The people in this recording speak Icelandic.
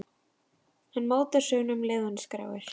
Hann mótar söguna um leið og hann skráir.